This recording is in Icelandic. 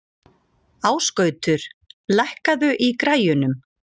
Ásgautur, lækkaðu í græjunum.